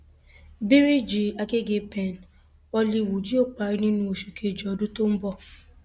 bíríìjì àgègèpen hollywood yóò parí nínú oṣù kejì ọdún tó ń bọ